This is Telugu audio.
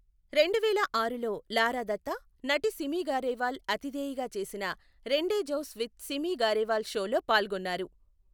రెండువేల ఆరులో లారా దత్తా, నటి సిమి గారేవాల్ అతిథేయిగా చేసిన రెండెజౌస్ విత్ సిమి గారేవాల్ షోలో పాల్గొన్నారు.